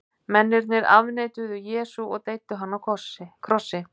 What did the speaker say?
mennirnir afneituðu jesú og deyddu hann á krossi